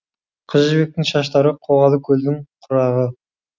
қыз жібектің шаштары қоғалы көлдің құрағы